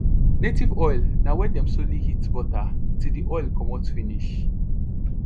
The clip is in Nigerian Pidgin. native oil na wen dem slowly heat butter till the oil commot finish